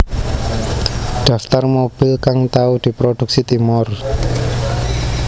Daftar mobil kang tau diproduksi Timor